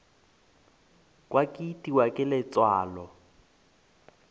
kwa ke itiwa ke letswalo